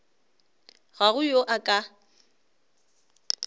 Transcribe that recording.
ga go yo a ka